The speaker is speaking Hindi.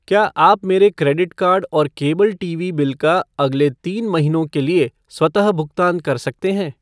क्या आप मेरे क्रेडिट कार्ड और केबल टीवी बिल का अगले तीन महीनों के लिए स्वतः भुगतान कर सकते हैं?